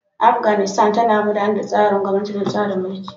Afganistan tana gudanar da tsarin gwamnati na tsarin mulki.